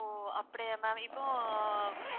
ஓ அப்படியா ma'am இப்போ